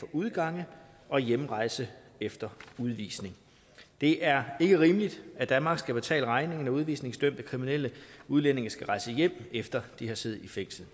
udgang og hjemrejse efter udvisning det er ikke rimeligt at danmark skal betale regningen når udvisningsdømte kriminelle udlændinge skal rejse hjem efter de har siddet i fængsel